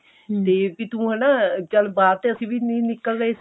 ਤੇ ਵੀ ਤੂੰ ਹਨਾ ਚੱਲ ਬਾਹਰ ਤੇ ਅਸੀਂ ਵੀ ਨਹੀਂ ਨਿੱਕਲ ਰਹੇ